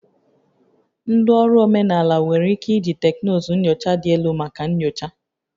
Ndị ọrụ omenala nwere ike iji teknụzụ nyocha dị elu maka nyocha